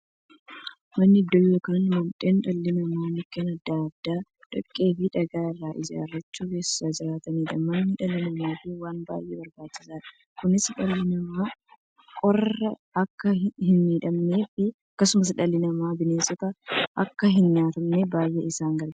Manni iddoo yookiin mandhee dhalli namaa Mukkeen adda addaa, dhoqqeefi dhagaa irraa ijaarachuun keessa jiraataniidha. Manni dhala namaaf waan baay'ee barbaachisaadha. Kunis, dhalli namaa qorraan akka hinmiidhamneefi akkasumas dhalli namaa bineensaan akka hinnyaatamneef baay'ee isaan gargaara.